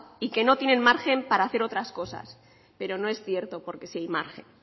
y que no tienen margen para hacer otras cosas pero no es cierto porque sí hay margen